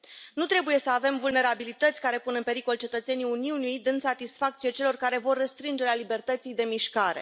Nu trebuie să avem vulnerabilități care pun în pericol cetățenii Uniunii dând satisfacție celor care vor restrângerea libertății de mișcare.